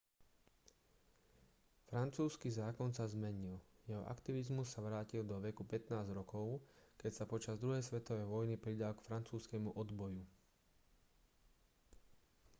francúzsky zákon sa zmenil jeho aktivizmus sa vrátil do veku 15 rokov keď sa počas druhej svetovej vojny pridal k francúzskemu odboju